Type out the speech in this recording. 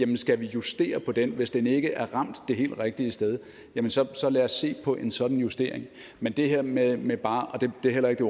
vi skal justere på den balance hvis den ikke er det helt rigtige sted så lad os se på en sådan justering men det her med med bare det er heller ikke